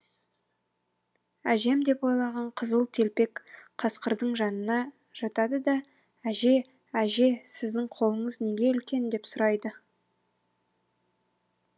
әжем деп ойлаған қызыл телпек қасқырдың жанына жатады да әже әже сіздің қолыңыз неге үлкен деп сұрайды